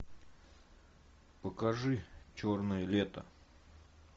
покажи черное лето